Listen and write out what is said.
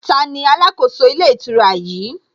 Taani alákòóso ilé ìtura yìí?